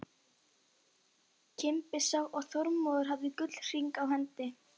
Kimbi sá að Þormóður hafði gullhring á hendi.